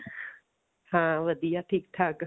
ਹਾਂ ਵਧੀਆ ਠੀਕ ਠਾਕ